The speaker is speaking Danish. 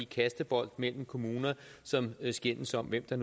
kastebolde mellem kommuner som skændes om hvem der